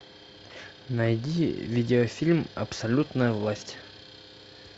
найди видеофильм абсолютная власть